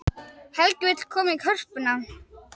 Helgi vill koma í Hörpuna